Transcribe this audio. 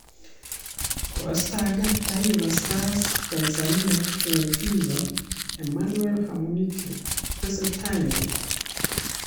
Koistakan Taifa Stars Tanzania eng Fifa Emmanuel Amunike-tesetai nee ?